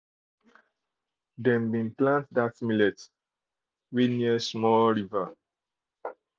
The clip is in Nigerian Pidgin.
dem dey plant dat millet near small river